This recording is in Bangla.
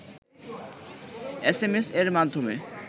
এসএমএস-এর মাধ্যমে